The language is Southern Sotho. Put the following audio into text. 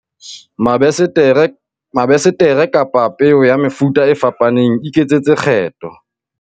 Mabasetere kapa peo ya mefuta e fapaneng - iketsetse kgetho